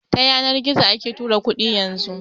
Ta yanar gizo ake tura kuɗi yanzu